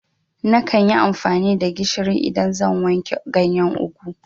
Nakan yi amfani da gishiri idan zan wanke ganyen ugwu